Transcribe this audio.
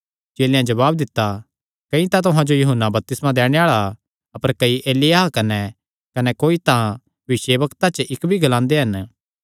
चेलेयां जवाब दित्ता कई तां तुहां जो यूहन्ना बपतिस्मा दैणे आल़ा अपर कई एलिय्याह कने कोईकोई तां भविष्यवक्तां च इक्क भी ग्लांदे हन